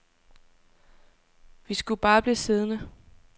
Vi skulle bare blive siddende.